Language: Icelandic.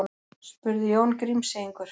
spurði Jón Grímseyingur.